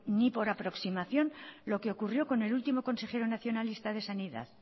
ni por aproximación lo que ocurrió con el último consejero nacionalista de sanidad